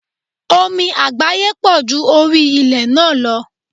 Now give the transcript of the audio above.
Omi àgbáyé pọ̀ ju orí ilé náà lọ.